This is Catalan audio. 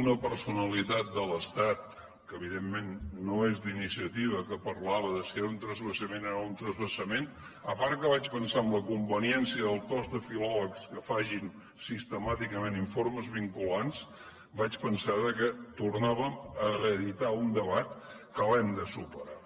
una personalitat de l’estat que evidentment no és d’iniciativa parlava de si era un transvasament o no era un transvasament a part que vaig pensar en la conveniència del cos de filòlegs que facin sistemàticament informes vinculants vaig pensar que tornàvem a reeditar un debat que hem de superar